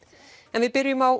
en við byrjum á